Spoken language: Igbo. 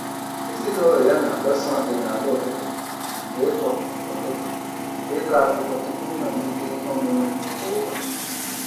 Ezinaụlọ ya na-agbaso ọdịnala ụtụtụ nke ịkọ ụtụtụ nke ịkọ akụkọ tụpụ mmalite iheomume kwa ụbọchị.